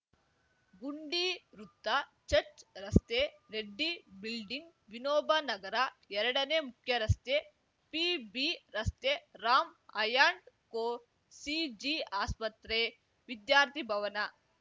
ಗುಂಡಿ ವೃತ್ತ ಚಚ್‌ರ್‍ ರಸ್ತೆ ರೆಡ್ಡಿ ಬಿಲ್ಡಿಂಗ್‌ ವಿನೋಬ ನಗರ ಎರಡನೇ ಮುಖ್ಯರಸ್ತೆ ಪಿಬಿ ರಸ್ತೆ ರಾಂ ಆ್ಯಂಡ್‌ ಕೋ ಸಿಜಿ ಆಸ್ಪತ್ರೆ ವಿದ್ಯಾರ್ಥಿ ಭವನ